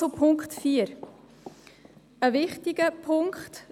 Zum Punkt 4: Das ist ein wichtiger Punkt.